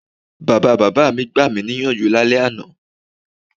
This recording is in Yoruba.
Bàbabàbá mi gbami níyànjú lálẹ́ àná.